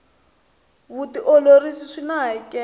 vutiolori swina hakelo